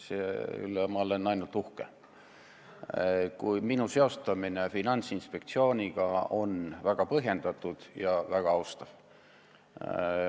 Selle üle olen ma ainult uhke, kui minu seostamine Finantsinspektsiooniga on väga põhjendatud ja väga austav.